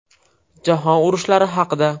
Jahon urushlari haqida.